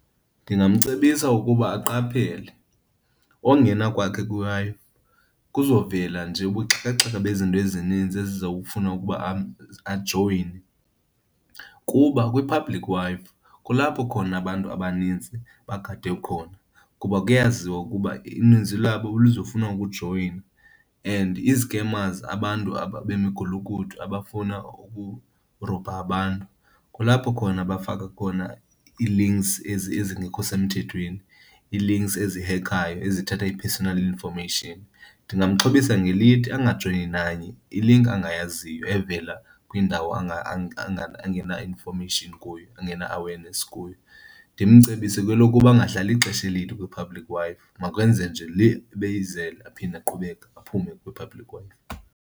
Ndingamcebisa ukuba aqaphele. Ongena kwakhe kwiWi-Fi kuzovela nje ubuxhakaxhaka bezinto ezininzi ezokufuna ukuba ajoyine. Kuba kwi-public Wi-Fi kulapho khona abantu abanintsi bagade khona kuba kuyaziwa ukuba ininzi labo luzofuna wokujoyina and izikemazi, abantu aba bemigulukudu abafuna ukurobha abantu, kulapho khona bafaka khona ii-links ezingekho semthethweni, ii-links ezihekhayo ezithatha i-personal iinformation. Ndingamxhobisa ngelithi angajoyini nanye ilinki angayaziyo evela kwiindawo angena-information kuyo, angena-awareness kuyo. Ndimcebise kwelokuba angahlali ixesha elide kwii-public Wi-Fi, makenze nje le ebeyizele aphinde aqhubeka aphume kwi-public Wi-Fi.